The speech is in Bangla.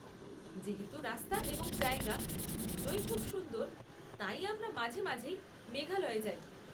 যেহেতু রাস্তা এবং জায়গা দুটোই খুব সুন্দর, তাই আমরা মাঝে মাঝেই মেঘালয়ে যাই।